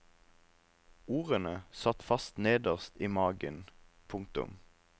Ordene satt fast nederst i magen. punktum